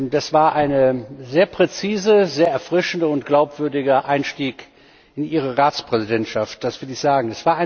Das war ein sehr präziser, sehr erfrischender und glaubwürdiger Einstieg in Ihre Ratspräsidentschaft, das will ich sagen.